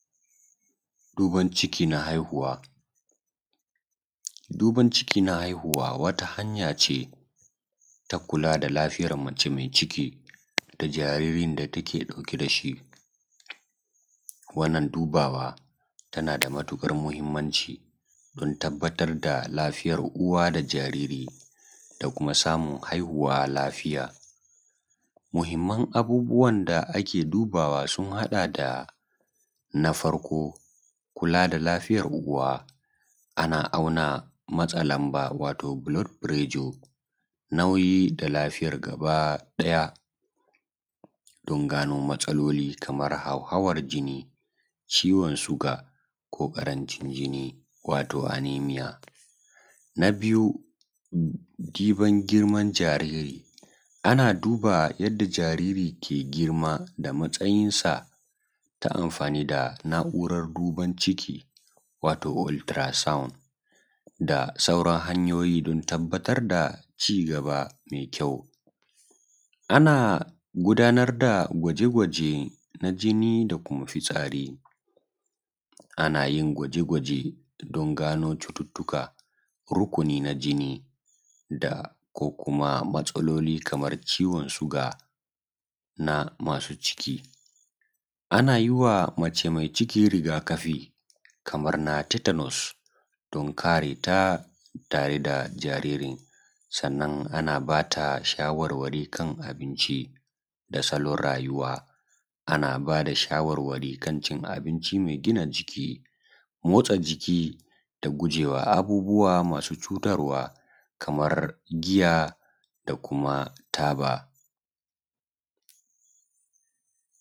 duban ʧiki na haihuwa, duban ʧiki na haihuwa wata hanya ʧe ta kula da lafiya maʧe mai ʧiki da jaririn da take dauke dashi, wannan dubawa ta nada matukar mahimmanʧi gurin tabbatar da lafiyan uwa da jariri, da kuma samun haihuwa lafiya. Abubuwan da ake dubawa sun hada da. na farko kula da lafiyan uwa ana auna matsalan ba wato bulod furejo nauyi lafiyan gaba daya, dan gano matsaloli kamar hauhawan jinni, ʧiwon suga ko karanʧin jinni wato anemiya. na diban girman jariri ana diba yanda jariri ke girman da matsayin sa ta amfani da na’uran duban ciki wato ultura saun da sauran hanyoyi dan tabbatar da cigaba mai kyau, ana gudanar da gwaje gwaje na jinni da kuma fitsari anayin gwaje gwaje dan gano cututtuka rukuni na jini da ko kuma matsaloli Kaman ciwon suga na masu ciki. Ana yiwa mace mai ciki riga kafi don kareta ta reda jaririn. sannan ana bata shawarwari dan kan abinci da salon rayuwa, ana bada shawar wari kancin abinci mai gina jiki, motsa jiki da gujewa abubuwa masu cutarwa kamar jiya da kuma taba da sauran su.